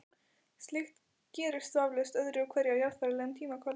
Slíkt gerist vafalaust öðru hverju á jarðfræðilegum tímakvarða.